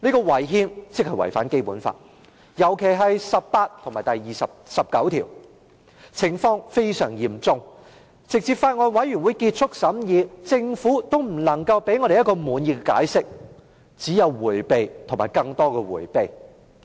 違憲即違反《基本法》，尤其是第十八條及第十九條，情況非常嚴重，直至法案委員會結束審議，政府仍無法給我們一個滿意解釋，只有迴避及更多的迴避。